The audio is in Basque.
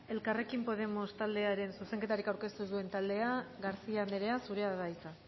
elkarrekin podemos taldearen zuzenketarik aurkeztu duen taldeak garcía andrea zurea da hitza